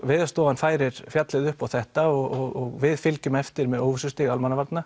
Veðurstofan færir fjallið upp á þetta og við fylgjum eftir með óvissustig Almannavarna